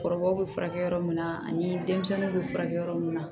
Kɔrɔbaw bɛ furakɛ yɔrɔ min na ani denmisɛnninw bɛ furakɛ yɔrɔ mun na